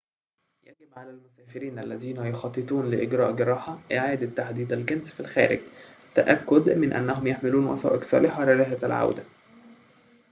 يجب على المسافرين الذين يخططون لإجراء جراحة إعادة تحديد الجنس في الخارج التأكّد من أنهم يحملون وثائق صالحة لرحلة العودة